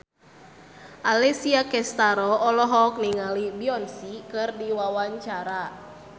Alessia Cestaro olohok ningali Beyonce keur diwawancara